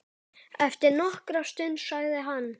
Eftir nokkra stund sagði hann